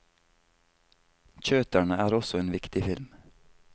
Kjøterne er også en viktig film.